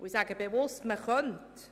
Ich sage bewusst «man könnte».